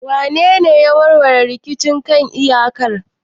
Wanene ya warware rikicin kan iyakar?